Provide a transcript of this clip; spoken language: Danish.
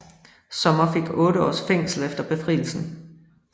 Sommer fik otte års fængsel efter Befrielsen